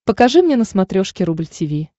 покажи мне на смотрешке рубль ти ви